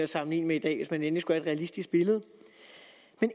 sammenligne med i dag hvis man endelig skulle have et realistisk billede og